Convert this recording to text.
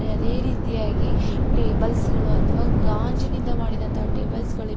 ಅದೇ ರೀತಿಯಾಗಿ ಟೇಬಲ್ಸ್ ಗಳು ಅಥವಾ ಗಾಜಿನಿಂದ ಮಾಡಿದಂತಹ ಟೇಬಲ್ಸ್ ಗಳಿವೆ.